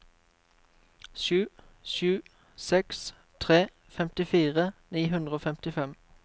sju sju seks tre femtifire ni hundre og femtifem